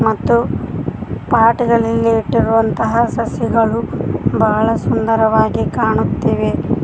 ಮತ್ತು ಪಾಟ್ ನಲ್ಲಿ ಇಟ್ಟಿರುವಂತಹ ಸಸಿಗಳು ಬಹಳ ಸುಂದರವಾಗಿ ಕಾಣುತ್ತಿವೆ.